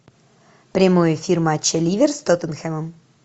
прямой эфир матча ливер с тоттенхэмом